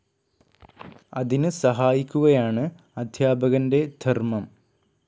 അതിന് സഹായിക്കുകയാണ് അധ്യാപകൻ്റെ ധർമ്മം.